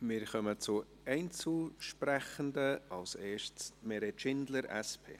Wir kommen zu den Einzelsprechenden; als erste Meret Schindler, SP.